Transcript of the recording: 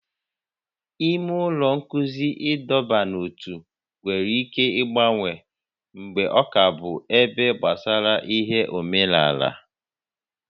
Ime ụlọ nkụzi ịdọba n'ótú nwere ike ịgbanwe mgbe ọ ka bụ ebe gbasara ihe omenala